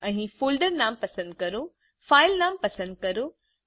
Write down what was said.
અહી ફોલ્ડર નામ પસંદ કરો ફાઈલ નામ પસંદ કરો